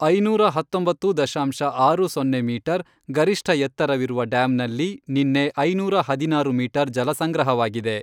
ಐನೂರ ಹತ್ತೊಂಬತ್ತು ದಶಾಂಶ ಆರು ಸೊನ್ನೆ ಮೀಟರ್, ಗರಿಷ್ಠ ಎತ್ತರವಿರುವ ಡ್ಯಾಮ್ನಲ್ಲಿ ನಿನ್ನೆ ಐನೂರ ಹದಿನಾರು ಮೀಟರ್ ಜಲ ಸಂಗ್ರಹವಾಗಿದೆ.